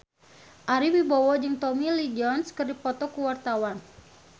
Ari Wibowo jeung Tommy Lee Jones keur dipoto ku wartawan